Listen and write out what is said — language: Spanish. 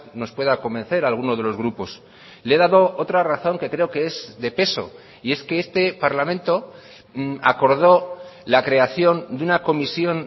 nos pueda convencer a algunos de los grupos le he dado otra razón que creo que es de peso y es que este parlamento acordó la creación de una comisión